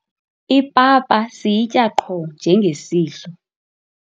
ipapa siyitya qho njengesidlo